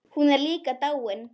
Hún er líka dáin.